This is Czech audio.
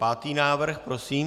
Pátý návrh prosím?